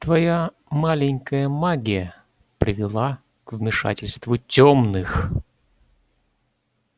твоя маленькая магия привела к вмешательству тёмных